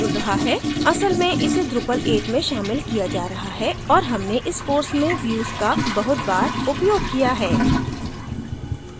असल में इसे drupal 8 में शामिल किया जा रहा है और हमने इस course में views का बहुत बार उपयोग किया है